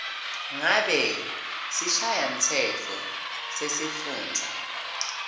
ngabe sishayamtsetfo sesifundza